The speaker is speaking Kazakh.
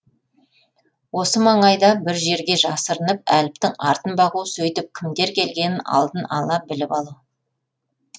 осы маңайда бір жерге жасырынып әліптің артын бағу сөйтіп кімдер келгенін алдын ала біліп алу